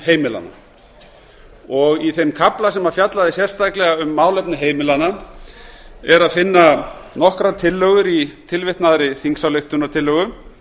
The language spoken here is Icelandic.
heimilanna í þeim kafla sem fjallaði sérstaklega um málefni heimilanna er að finna nokkrar tillögur í tilvitnaðri þingsályktunartillögu